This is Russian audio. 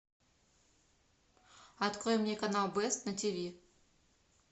открой мне канал бест на тв